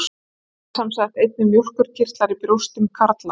Það eru sem sagt einnig mjólkurkirtlar í brjóstum karla.